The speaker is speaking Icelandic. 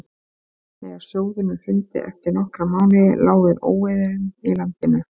þegar sjóðurinn hrundi eftir nokkra mánuði lá við óeirðum í landinu